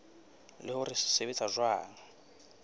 le hore se sebetsa jwang